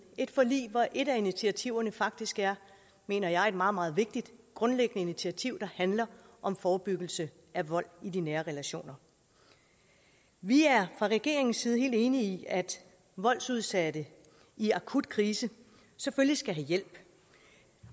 et forlig hvor et af initiativerne faktisk er mener jeg et meget meget vigtigt grundlæggende initiativ der handler om forebyggelse af vold i de nære relationer vi er fra regeringens side selvfølgelig helt enige i at voldsudsatte i akut krise skal have hjælp